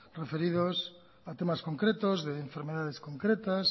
referidos a temas concretos de enfermedades concretas